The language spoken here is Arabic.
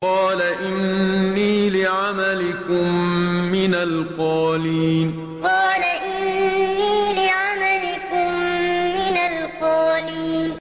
قَالَ إِنِّي لِعَمَلِكُم مِّنَ الْقَالِينَ قَالَ إِنِّي لِعَمَلِكُم مِّنَ الْقَالِينَ